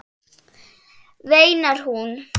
veinar hún.